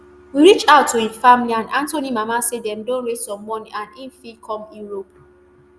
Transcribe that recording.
we reach out to im family and anthony mama say dem don raise some money and im fit come europe